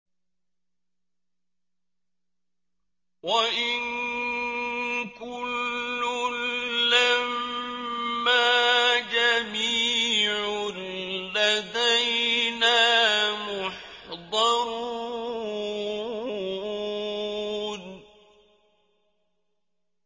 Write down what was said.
وَإِن كُلٌّ لَّمَّا جَمِيعٌ لَّدَيْنَا مُحْضَرُونَ